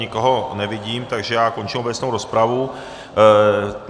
Nikoho nevidím, takže já končím obecnou rozpravu.